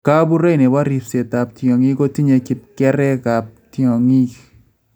Kabuurei nebo ribseetab tyong�iik kotinye kipkerchekaab tyong�iik